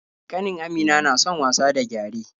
Ƙanin Amina na son wasa da gyare.